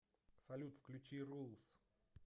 салют включи рулс